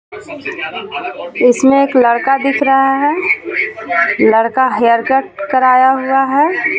इसमें एक लड़का दिख रहा है लड़का हेयरकट कराया हुआ है.